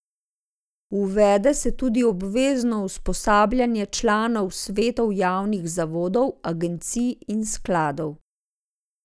Uvede se tudi obvezno usposabljanje članov svetov javnih zavodov, agencij in skladov.